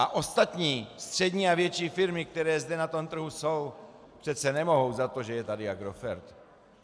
A ostatní střední a větší firmy, které zde na tom trhu jsou, přece nemohou za to, že je tady Agrofert.